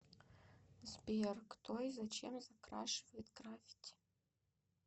сбер кто и зачем закрашивает граффити